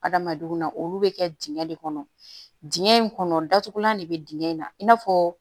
Adamadenw na olu bɛ kɛ dingɛ de kɔnɔ dingɛ in kɔnɔ datugulan de bɛ dingɛ in na i n'a fɔ